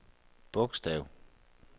bogstav